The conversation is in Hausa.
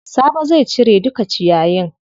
Sabo zai cire duka ciyayin.